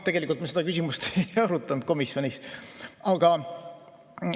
Tegelikult me seda küsimust komisjonis ei arutanud.